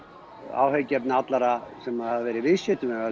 áhyggjuefni allra sem hafa verið viðskiptavinir